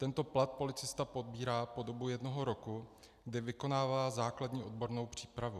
Tento plat policista pobírá po dobu jednoho roku, kdy vykonává základní odbornou přípravu.